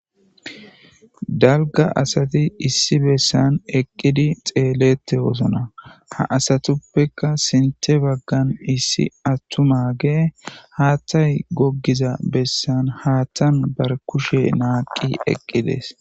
dalga asati issi bessan eqqidi xeelette wosna ha asatuppeka sinte baggan issi attu mage haattay goggiza bessan haattan bar kushe naaqi eqqides